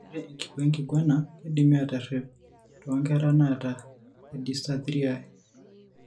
Ore enkikoo enkiguana keidimi aaterep toonkera naata edysarthriae.